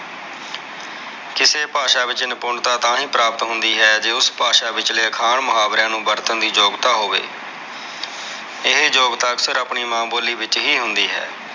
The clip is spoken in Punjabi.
ਕਿਸੇ ਭਾਸ਼ਾ ਵਿਚ ਨਿਪੁੰਨਤਾ ਤਾਹਿ ਪ੍ਰਾਪਤ ਹੁੰਦੀ ਜੇ ਉਸ ਭਾਸ਼ਾ ਵਿਚਲੇ ਅੱਖਾਂ ਮੁਹਾਵਰਿਆਂ ਨੂੰ ਵਰਤਣ ਦੀ ਯੋਗਤਾ ਹੋਵੇ ਇਹ ਯੋਗਤਾ ਅਕਸਰ ਆਪਣੀ ਮਾਂ ਬੋਲੀ ਵਿਚ ਹੀ ਹੁੰਦੀ ਹੈ।